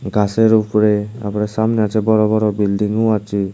ঘাসের ওপরে আবার সামনে আছে বড়ো বড়ো বিল্ডিংও আছে।